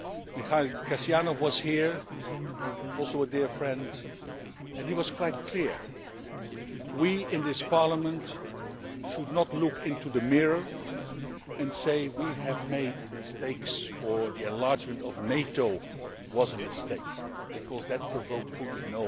Mikhail Kasyanov was here also a dear friend and he was quite clear we in this Parliament should not look into the mirror and say that we have made mistakes or that the enlargement of NATO was a mistake because it provoked Putin.